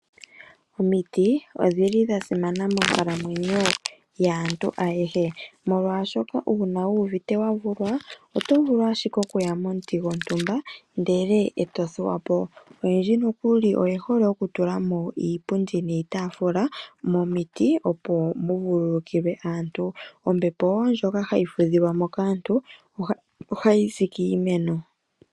Omiti odhili dhasimana monkalamwenyo yaantu ayehe ,molwaashoka uuna wu uvite wavulwa otovulu ashike okuya momuti gwontumba ndele eto thuwapo. Oyendji nokuli oyehole oku tulamo iipundi niitafula momiti opo mu vululukilwe . Ombepo woo ndjoka hayi fudhikwamo kaantu ohayi zi kiimeno